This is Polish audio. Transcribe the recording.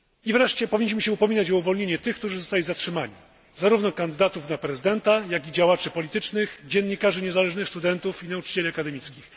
Wreszcie powinniśmy upominać się o uwolnienie tych, którzy zostali zatrzymani, zarówno kandydatów na prezydenta, jak i działaczy politycznych, dziennikarzy niezależnych, studentów i nauczycieli akademickich.